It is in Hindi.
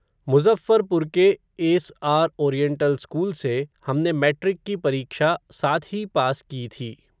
मुज़फ़्फ़रपुर के, एस आर ओरिएंटल स्कूल से, हमने मैट्रिक की परीक्षा, साथ ही पास की थी